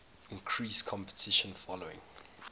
increased competition following